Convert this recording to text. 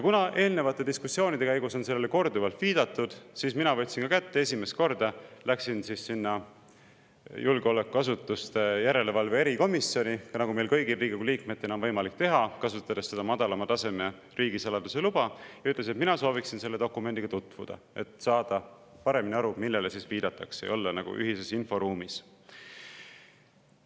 Kuna eelnevate diskussioonide käigus on sellele korduvalt viidatud, siis ma võtsin esimest korda kätte ja läksin sinna julgeolekuasutuste järelevalve erikomisjoni, nagu meil kõigil Riigikogu liikmetel on võimalik teha, kasutades madalama tasemega riigisaladuse luba, ja ütlesin, et mina sooviksin selle dokumendiga tutvuda, et saada paremini aru, millele viidatakse, ja olla ühises inforuumis.